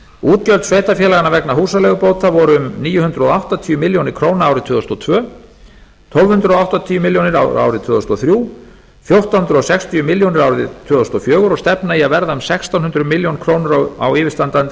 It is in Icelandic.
útgjöld sveitarfélaganna vegna húsaleigubóta voru um níu hundruð áttatíu milljónir króna árið tvö þúsund og tvö tólf hundruð áttatíu milljónir króna árið tvö þúsund og þrjú fjórtán hundruð sextíu milljónir króna árið tvö þúsund og fjögur og stefna í að verða um sextán hundruð milljóna króna á yfirstandandi